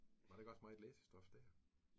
Var der ikke også meget læsestof dér?